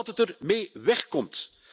Omdat het er mee wegkomt.